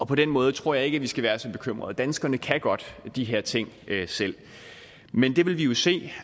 på den måde tror jeg ikke vi skal være så bekymret danskerne kan godt de her ting selv men det vil vi jo se